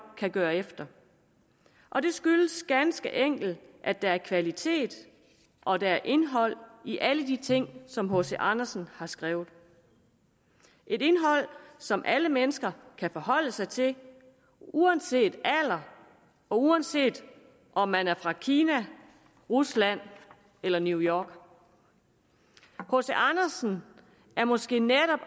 kan gøre efter og det skyldes ganske enkelt at der er kvalitet og at der er indhold i alle de ting som hc andersen har skrevet et indhold som alle mennesker kan forholde sig til uanset alder og uanset om man er fra kina rusland eller new york hc andersen er måske netop